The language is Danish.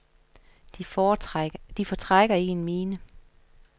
De fortrækker ikke en mine.